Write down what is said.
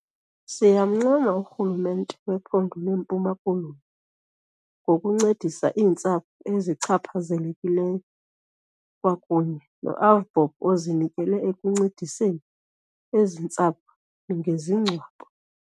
Siyamncoma urhulumente wephondo leMpuma Koloni ngokuncedisa iintsapho ezichaphazelekileyo, kwakunye no-AVBOB ozinikele ekuncediseni ezi ntsapho ngezingcwabo.